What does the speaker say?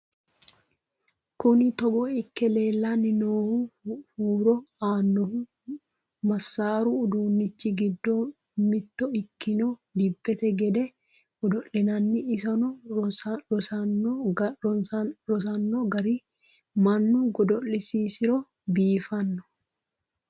Kunni togo ikke leelanni noohu huuro aanohu masaaru uduunnichi giddo mitto ikkanna dibette gedde godo'linaanni. isonno rosinno garinni mannu godo'lisiro biiffanno